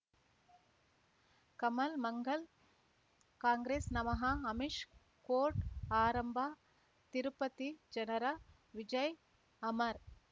ಕಮಲ್ ಮಂಗಳ್ ಕಾಂಗ್ರೆಸ್ ನಮಃ ಅಮಿಷ್ ಕೋರ್ಟ್ ಆರಂಭ ತಿರುಪತಿ ಜನರ ವಿಜಯ್ ಅಮರ್